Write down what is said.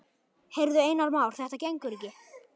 Heyrðu, Einar Már, þetta gengur ekki.